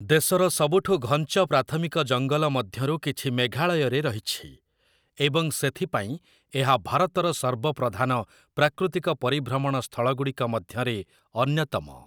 ଦେଶର ସବୁଠୁ ଘଞ୍ଚ ପ୍ରାଥମିକ ଜଙ୍ଗଲ ମଧ୍ୟରୁ କିଛି ମେଘାଳୟରେ ରହିଛି, ଏବଂ ସେଥିପାଇଁ, ଏହା ଭାରତର ସର୍ବପ୍ରଧାନ ପ୍ରାକୃତିକ ପରିଭ୍ରମଣ ସ୍ଥଳଗୁଡ଼ିକ ମଧ୍ୟରେ ଅନ୍ୟତମ ।